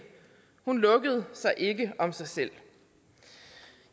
hun lukkede sig ikke om sig selv